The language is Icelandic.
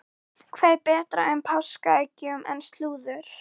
Hvað er betra með páskaeggjunum en slúður?